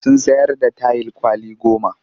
Sun sayar da tayil kwali goma